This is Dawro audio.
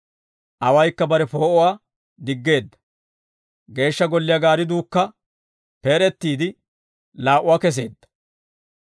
Awaykka bare poo'uwaa diggeedda; geeshsha golliyaa gaaridduukka peed'ettiide laa"uwaa keseedda.